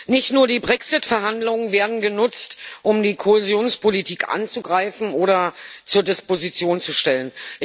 Nicht nur die Brexit Verhandlungen werden genutzt, um die Kohäsionspolitik anzugreifen oder zur Disposition zu stellen.